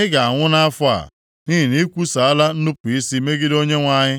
Ị ga-anwụ nʼafọ a, nʼihi na i kwusaala nnupu isi megide Onyenwe anyị.’ ”